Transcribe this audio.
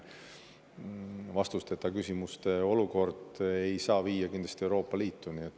Vastusteta küsimused ei saa viia kindlasti Euroopa Liitu.